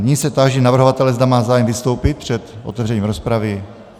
Nyní se táži navrhovatele, zda má zájem vystoupit před otevřením rozpravy.